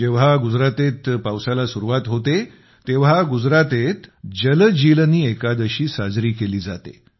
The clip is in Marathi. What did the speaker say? जेव्हा गुजरातेत पावसाला सुरुवात होते तेव्हा गुजरातेत जल जीलनी एकादशी साजरी केली जाते